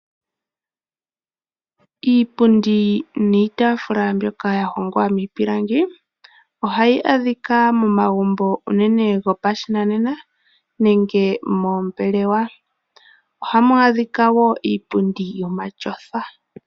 Iipundi niitaafula mbyoka ya hongwa miipilangi ohayi adhika momagumbo unene gopashinanena nenge moombelewa. Ohamu adhika wo iipundi yomatyofa.